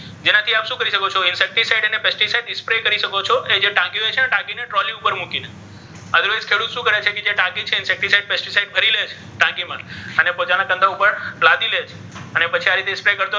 જેનાથી આપ શુ કરી શકો છો તેનાથી તમે શુ કરી શકો છો જે ટાકી છે ને તેને તમે ટ્રોલી પર મુકી શકો છો otherwise ખેડુત શુ કરે છે જે ટાકી છે ભરી લે છે અને બધા ના ખન્ધા ઉપર લાદી લે છે અને પછી આ રીતે,